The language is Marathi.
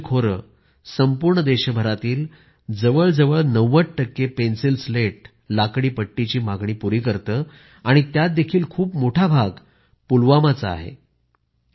कश्मीर खोरे संपूर्ण देशभरातील जवळजवळ 90 टक्के पेन्सिल स्लेट लाकडी पट्टी ची मागणी पुरी करते आणि त्यात देखील खूप मोठा भाग पुलवामा चा आहे